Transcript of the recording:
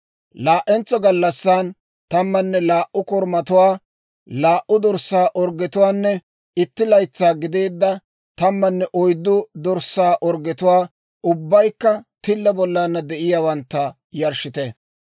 « ‹Laa"entsa gallassan tammanne laa"u korumatuwaa, laa"u dorssaa orggetuwaanne itti laytsaa gideedda tammanne oyddu dorssaa orggetuwaa, ubbaykka tilla bollana de'iyaawantta, yarshshite.